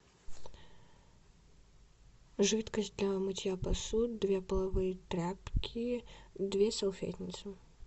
жидкость для мытья посуды две половые тряпки две салфетницы